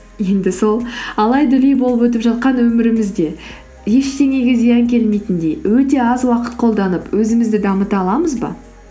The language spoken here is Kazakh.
енді сол алай дүлей болып өтіп жатқан өмірімізде ештеңеге зиян келметіндей өте аз уақыт қолданып өзімізді дамыта аламыз ба